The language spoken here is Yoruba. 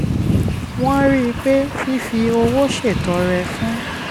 wọ́n rí i pé fífi owó ṣètọrẹ fún